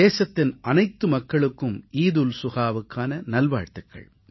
தேசத்தின் அனைத்து மக்களுக்கும் ஈத் உல் சுஹாவுக்கான நல் வாழ்த்துகள்